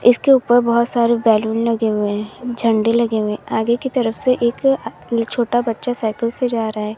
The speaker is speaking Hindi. इसके ऊपर बहौत सारे बैलून लगे हुए हैं झंडे लगे हुए हैं आगे की तरफ से एक छोटा बच्चा साइकिल से जा रहा है।